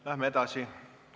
Läheme edasi.